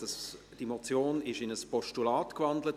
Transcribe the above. Die Motion wurde in ein Postulat gewandelt.